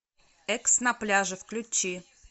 экс на пляже включи